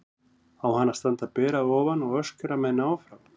Á hann að standa ber að ofan og öskra menn áfram?